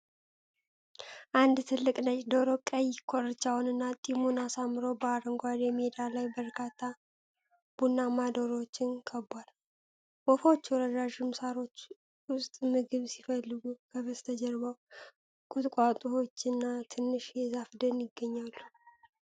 አንድ ትልቅ ነጭ ዶሮ ቀይ ኮርቻውንና ጢሙን አሳምሮ፣ በአረንጓዴ ሜዳ ላይ በርካታ ቡናማ ዶሮዎችን ከቧል። ወፎቹ ረዣዥም ሳሮች ውስጥ ምግብ ሲፈልጉ፣ ከበስተጀርባው ቁጥቋጦዎችና ትንሽ የዛፍ ደን ይገኛሉ።